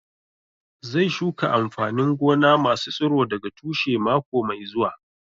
Zai shuka amfanin gona masu tsiro daga tushe mako mai zuwa